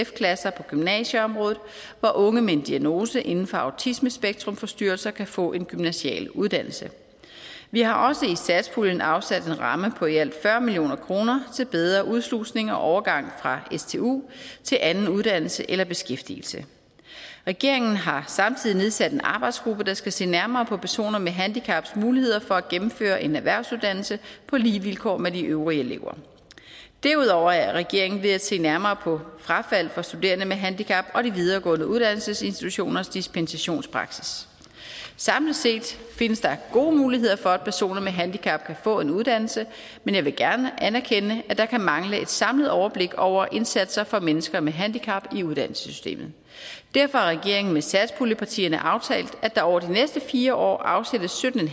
klasser på gymnasieområdet hvor unge med en diagnose inden for autismespektrumforstyrrelser kan få en gymnasial uddannelse vi har også i statspuljen afsat en ramme på i alt fyrre million kroner til bedre udslusning og overgang fra stu til anden uddannelse eller beskæftigelse regeringen har samtidig nedsat en arbejdsgruppe der skal se nærmere på personer med handicaps muligheder for at gennemføre en erhvervsuddannelse på lige vilkår med de øvrige elever derudover er regeringen ved at se nærmere på frafald for studerende med handicap og de videregående uddannelsesinstitutioners dispensationspraksis samlet set findes der gode muligheder for at personer med handicap kan få en uddannelse men jeg vil gerne anerkende at der kan mangle et samlet overblik over indsatser for mennesker med handicap i uddannelsessystemet derfor har regeringen med satspuljepartierne aftalt at der over de næste fire år afsættes sytten